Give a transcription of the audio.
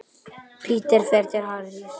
Peter fer til Harrys.